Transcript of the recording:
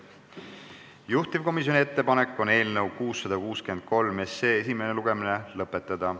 Juhtivkomisjoni ettepanek on eelnõu 663 esimene lugemine lõpetada.